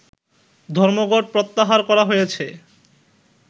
ধর্মঘট প্রত্যাহার করা হয়েছে